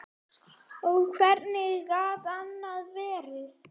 Og hvernig gat annað verið?